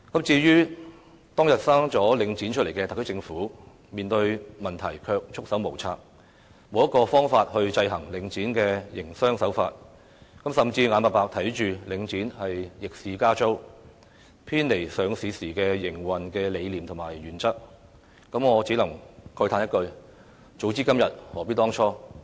至於當日誕下領展的特區政府，面對問題卻束手無策，沒有方法制衡領展的營商手法，甚至眼巴巴看着領展逆市加租，偏離上市時的營運理念和原則，我只能慨嘆一句，"早知今日，何必當初"。